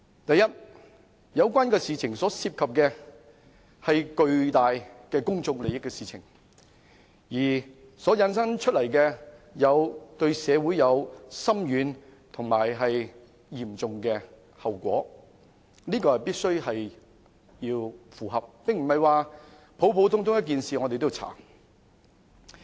第一，有關事情牽涉的是巨大的公眾利益，而對社會會產生深遠及嚴重的後果，這是必須符合的條件，並不是普通的一件事情就要調查。